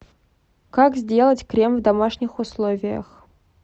как сделать крем в домашних условиях